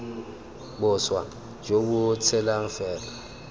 boswa jo bo tshelang fela